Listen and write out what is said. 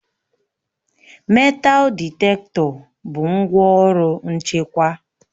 metal ditektọ bụ ngwaọrụ nchekwa